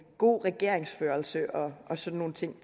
god regeringsførelse og og sådan nogle ting